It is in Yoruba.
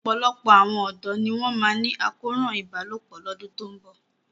Ọ̀pọ̀lọpọ̀ àwọn ọ̀dọ́ ni wọ́n máa ní àkóràn ìbálòpọ̀ lọ́dún tó ń bọ̀.